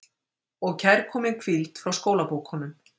Og kærkomin hvíld frá skólabókunum.